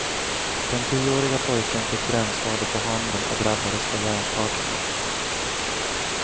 Den tioåriga pojken fick brännskador på handen och drabbades av hjärnskakning.